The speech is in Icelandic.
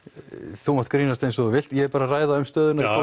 þú mátt grínast eins og þú vilt ég er bara að ræða um stöðuna í